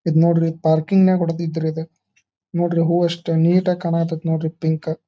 ಇದ ನೋಡ್ರಿ ಇದ ಪಾರ್ಕಿಂಗ್ ನ್ಯಾಗ್ ಹೊಡ್ದಿದ್ದ ರೀ ಇದ. ನೋಡ್ರಿ ಹೂವಾ ಎಷ್ಟ ನೀಟಾಗಿ ಕಾನಾತೈತ್ ನೋಡ್ರಿ ಪಿಂಕ್ --